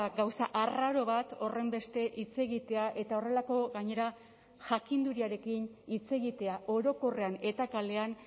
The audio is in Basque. gauza arraro bat horrenbeste hitz egitea eta horrelako gainera jakinduriarekin hitz egitea orokorrean eta kalean